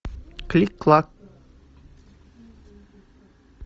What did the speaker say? кликклак